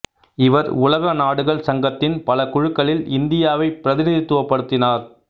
இவர் உலக நாடுகள் சங்கத்தின் பல குழுக்களில் இந்தியாவைப் பிரதிநிதித்துவப்படுத்தினார்